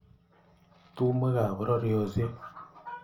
Tumwek ab pororieshek